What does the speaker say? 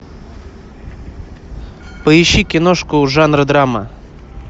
поищи киношку жанра драма